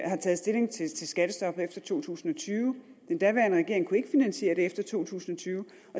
taget stilling til skattestoppet efter to tusind og tyve den daværende regering kunne ikke finansiere det efter to tusind og tyve